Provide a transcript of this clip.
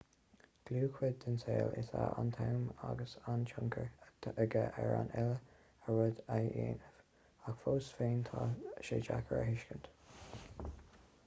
dlúthchuid den saol is ea an t-am agus tá tionchar aige ar an uile rud a dhéanaimid ach fós féin tá sé deacair a thuiscint